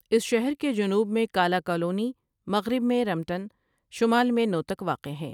اس شہر کے جنوب میں کالا کالونی مغرب میں رنمڻ شمال میں نوتک واقع ہیں۔